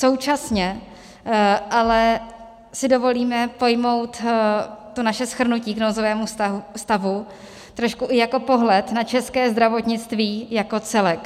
Současně ale si dovolíme pojmout to naše shrnutí k nouzovému stavu trošku i jako pohled na české zdravotnictví jako celek.